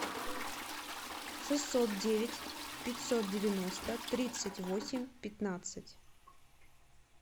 шестьсот девять пятьсот девяносто тридцать восемь пятнадцать